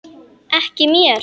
Ekki mér.